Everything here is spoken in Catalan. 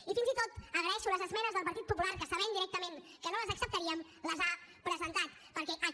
i fins i tot agraeixo les esmenes del partit popular que sabent directament que no les acceptaríem les ha presentat perquè aquest